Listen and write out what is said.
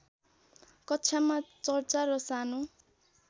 कक्षामा चर्चा र सानो